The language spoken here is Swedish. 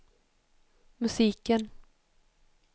musiken